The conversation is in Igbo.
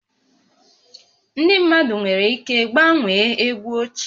Ndị mmadụ nwere ike gbanwee egwu ochie